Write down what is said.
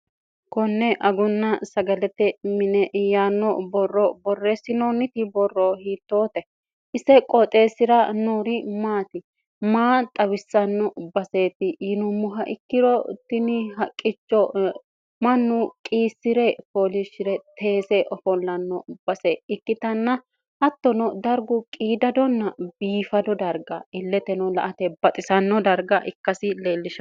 konne agunna sagalete mine iyaanno borro borreessinoonniti borro hiittoote isse qooxeessira noori maati maa xawissanno baseetti yinummoha ikkirottini haqqicho mannu qiissi're foolishi're teese ofollanno base ikkitanna hattono dargu qiidadonna biifado darga illeteno la ate baxisanno darga ikkasi leellisha